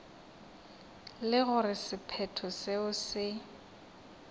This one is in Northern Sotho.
le gore sephetho seo se